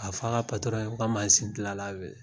Ka f'a ka patɔrɔn ye ko ka mazin gila la wele.